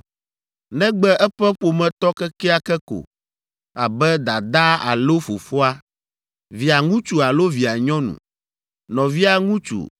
negbe eƒe ƒometɔ kekeake ko, abe dadaa alo fofoa, Via ŋutsu alo via nyɔnu, nɔvia ŋutsu,